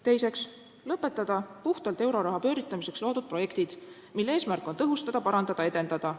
Teiseks, lõpetada puhtalt euroraha pööritamiseks loodud projektid, mille eesmärk on tõhustada, parandada, edendada.